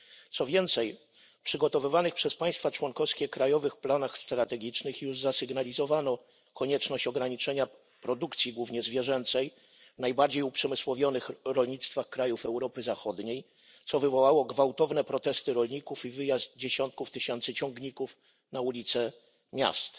Co więcej, w przygotowywanych przez państwa członkowskie krajowych planach strategicznych już zasygnalizowano konieczność ograniczenia produkcji głównie zwierzęcej w najbardziej uprzemysłowionych rolnictwach krajów Europy Zachodniej, co wywołało gwałtowne protesty rolników i wyjazd dziesiątków tysięcy ciągników na ulice miast.